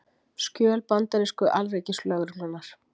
Skjöl bandarísku Alríkislögreglunnar